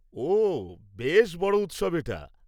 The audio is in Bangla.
ওহ, বেশ বড় উৎসব এটা।